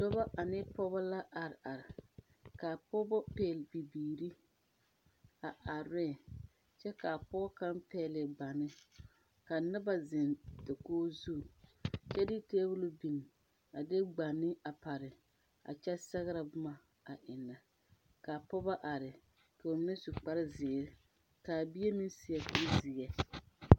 Dɔbɔ ane pɔɔbɔ la are are kaa pɔɔbɔ pɛgle bibiire a are re kyɛ kaa pɔɔ kaŋ pɛgle gbane ka noba zeŋ dakoge zu kyɛ de tabole biŋ a de gbane a pare a kyɛ sɛgrɛ bomma a eŋnɛ ka pɔɔbɔ are ka ba mine su kparre zeere kaa bie meŋ seɛ kurizeɛ.